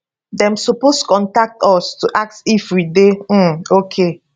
dem suppose contact us to ask if we dey um okay